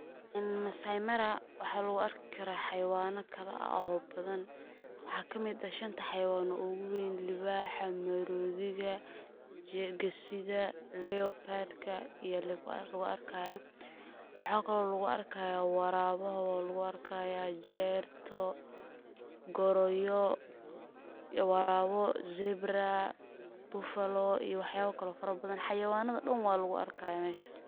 Maasai mara waxa lugu arki karaa xawayana kala ah oo badan waxa kamid ah shanta xawayanod ona ogu weyn, liibaxa, maroodiga iyo gesida, leobadka iyo loga arkaya, waxa kale oo lugu arkaya waraabaha waa lugu arkaya, jerta, goroyo, waraabo, zebra, buffalo iyo waxyaba kale oo fara badan xawayanada dhan waa lugu arkaya meshas